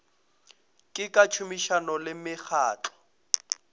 le ka tšhomišano le mekgatlo